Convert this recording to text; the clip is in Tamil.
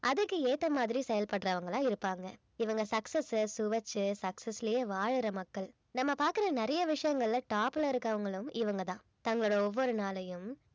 அதுக்கு ஏத்த மாதிரி செயல்படுறவங்களா இருப்பாங்க இவங்க success அ சுவைச்சு success லயே வாழுற மக்கள் நம்ம பாக்குற நிறைய விஷயங்கள்ல top ல இருக்குறவங்களும் இவங்க தான் தங்களோ ஒவ்வொரு நாளையும்